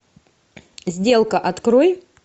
сделка открой